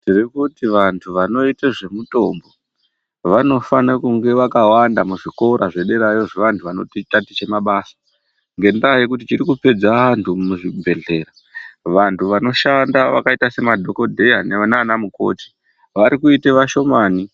Tiri kuti vantu vano ita zve mutombo vanofana kunge vakawanda mu zvikora zve derayo zve vantu vanoti taticha mabasa ngendaa yekuti chiri kupedza vantu mu zvibhedhlera vantu vanoshanda vakaita se madhokodheya nana mukoti vari kuite vashomani.